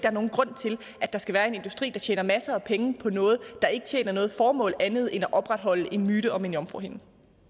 er nogen grund til at der skal være en industri der tjener masser af penge på noget der ikke tjener noget formål andet end at opretholde en myte om en jomfruhinde